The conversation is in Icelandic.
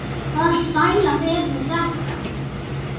Hvaða stælar eru nú þetta?